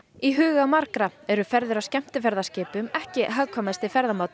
í huga margra eru ferðir á skemmtiferðaskipum ekki hagkvæmasti ferðamátinn